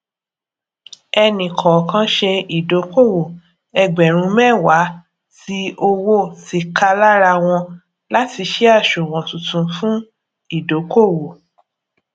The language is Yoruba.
ẹni kọọkan ṣe ìdókòwò ẹgbèrún méwàá tí owó tíkalárawon láti sì àṣùwòn tuntun fún ìdókòwò